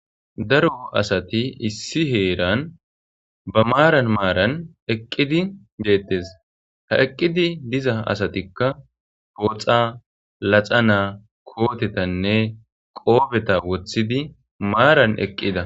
Daro asati issi heeran ba maaran maaran eqqidi geettes. Ha eqqidi diza asatikka pooxa,laxana,kootetanne qoofeta wothidi maaran eqqida.